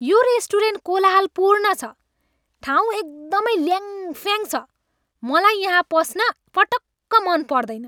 यो रेस्टुरेन्ट कोलाहलपूर्ण छ, ठाउँ एकदमै ल्याङफ्याङ छ, मलाई यहाँ पस्न पटक्क मन पर्दैन।